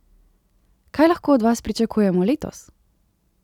Kaj lahko od vas pričakujemo letos?